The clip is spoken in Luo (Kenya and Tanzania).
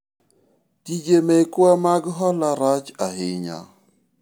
tije mekwa mag hola rach ahinya